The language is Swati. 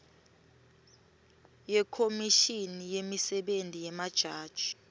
yekhomishini yemisebenti yemajaji